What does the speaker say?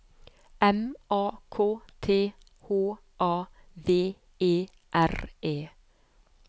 M A K T H A V E R E